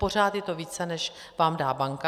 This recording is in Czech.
Pořád je to více, než vám dá banka.